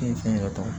fɛn yɛrɛ tɔgɔ